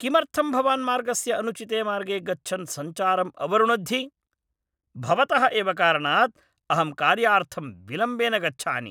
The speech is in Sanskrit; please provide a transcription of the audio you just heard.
किमर्थं भवान् मार्गस्य अनुचिते मार्गे गच्छन् सञ्चारं अवरुणद्धि? भवतः एव कारणात् अहं कार्यार्थम् विलम्बेन गच्छानि।